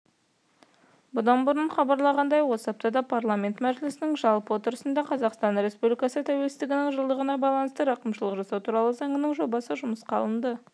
бұдан бұрын хабарланғандай осы аптада парламент мәжілісінің жалпы отырысында қазақстан республикасы тәуелсіздігінің жылдығына байланысты рақымшылық жасау туралы заңының жобасы жұмысқа алынды